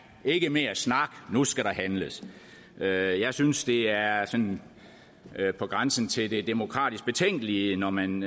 ikke mere snak nu skal der handles jeg jeg synes det er sådan på grænsen til det demokratisk betænkelige når man